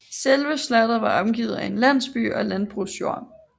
Selve slottet var omgivet af en landsby og landbrugsjord